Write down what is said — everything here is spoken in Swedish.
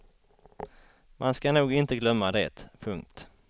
Man ska nog inte glömma det. punkt